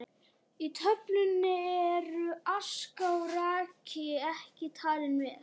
Í töflunni eru aska og raki ekki talin með.